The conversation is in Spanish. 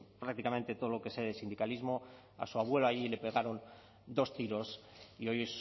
prácticamente todo lo que sé de sindicalismo a su abuelo allí le pegaron dos tiros y hoy